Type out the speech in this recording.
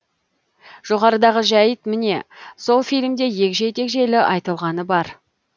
жоғарыдағы жәйт міне сол фильмде егжей тегжейлі айтылғаны бар